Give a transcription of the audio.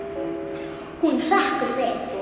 Hún hrekkur við.